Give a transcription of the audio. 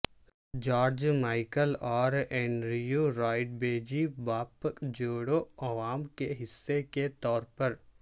George Michael اور Andrew Ridgeley pop جوڑو Wham کے حصے کے طور پر